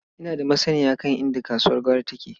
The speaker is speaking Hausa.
Ina da masanniya kan inda kasuwar gwari take.